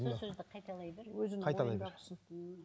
сол сөзді қайталай бер қайталай бер